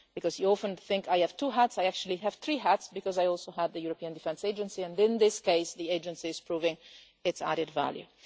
You often think that I have two hats, but I actually have three hats because I also have the European Defence Agency and, in this case, the Agency is proving its added value.